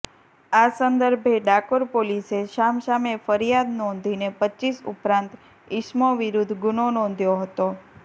આ સંદર્ભે ડાકોર પોલીસે સામસામે ફરીયાદ નોંધીને રપ ઉપરાંત ઇસમો વિરૂદ્ધ ગુનો નોંધ્યો હતો